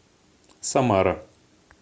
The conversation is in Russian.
самара